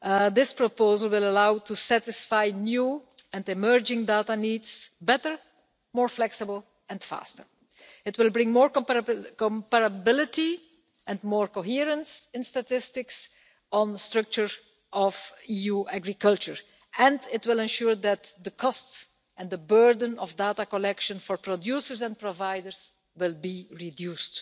This proposal will allow us to satisfy new and emerging data needs better, more flexibly and faster. It will bring more comparability and more coherence in statistics on the structure of EU agriculture, and it will ensure that the costs and the burden of data collection for producers and providers will be reduced.